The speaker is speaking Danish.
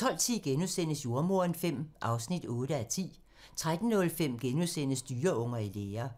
12:10: Jordemoderen V (8:10)* 13:05: Dyreunger i lære *